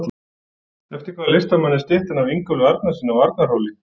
Eftir hvaða listamann er styttan af Ingólfi Arnarsyni á Arnarhóli?